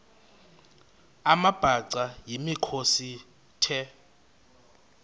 amabhaca yimikhosi the